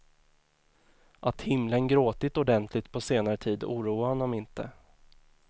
Att himlen gråtit ordentligt på senare tid oroar honom inte.